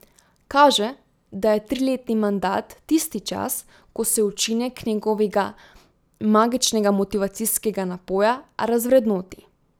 Kaže, da je triletni mandat tisti čas, ko se učinek njegovega magičnega motivacijskega napoja razvrednoti.